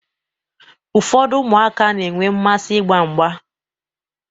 Ụfọdụ ụmụaka na-enwe mmasị ịgba mgba.